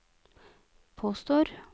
påstår